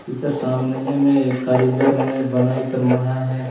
ऐकर सामने में हे कारीगर मन बनाई कर मढ़ाई है।